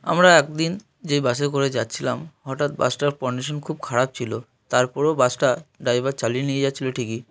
আমরা একদিন যে বাস -এ করে যাচ্ছিলাম হঠাৎ বাস -টা কন্ডিশন খুব খারাপ ছিল তারপরও বাস -টা ড্রাইভার চালিয়ে নিয়ে যাচ্ছিল ঠিকই।